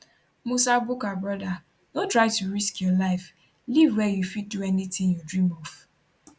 musa bukar brother no try to risk your life live wia you fit do anytin you dream of